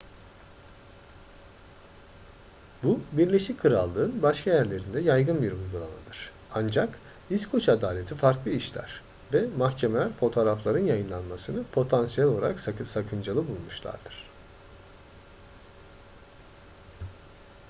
bu birleşik krallık'ın başka yerlerinde yaygın bir uygulamadır. ancak i̇skoç adaleti farklı işler ve mahkemeler fotoğrafların yayınlanmasını potansiyel olarak sakıncalı bulmuşlardır